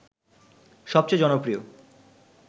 সবচেয়ে জনপ্রিয়